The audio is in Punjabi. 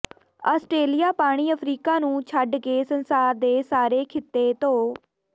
ਆਸਟ੍ਰੇਲੀਆ ਪਾਣੀ ਅਫਰੀਕਾ ਨੂੰ ਛੱਡ ਕੇ ਸੰਸਾਰ ਦੇ ਸਾਰੇ ਖਿੱਤੇ ਧੋ